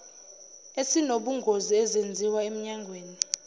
esinobungozi ezenziwa emnyangweni